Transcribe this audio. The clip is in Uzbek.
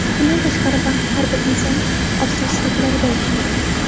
Bundan tashqari, baxt har bir insonning orzu-istaklarida yashaydi.